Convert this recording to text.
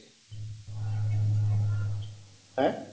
আঃ